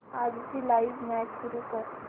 आजची live match सुरू कर